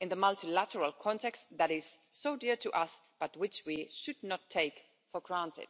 in the multilateral context that is so dear to us but which we should not take for granted.